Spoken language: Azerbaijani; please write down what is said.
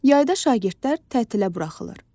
Yayda şagirdlər tətilə buraxılır.